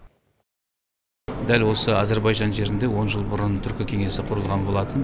дәл осы әзербайжан жерінде он жыл бұрын түркі кеңесі құрылған болатын